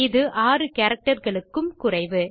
இது 6 கேரக்டர் களுக்கும் குறைவு